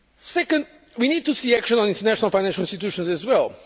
Second, we need to see action on the international financial institutions as well.